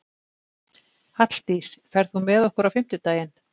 Halldís, ferð þú með okkur á fimmtudaginn?